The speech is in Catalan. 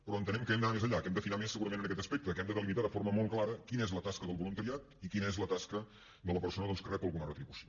però entenem que hem d’anar més enllà que hem d’afinar més segurament en aquest aspecte que hem de delimitar de forma molt clara quina és la tasca del voluntariat i quina és la tasca de la persona doncs que rep alguna retribució